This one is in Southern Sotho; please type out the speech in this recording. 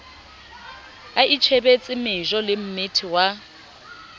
a itjhebetse mejo lemmethe wa